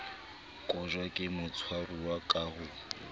kotjwa ke motshwaruwa ka ho